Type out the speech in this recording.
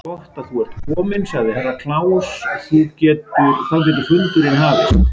Gott að þú ert kominn, sagði Herra Kláus, þá getur fundurinn hafist.